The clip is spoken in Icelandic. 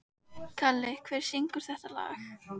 Kalli, hver syngur þetta lag?